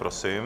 Prosím.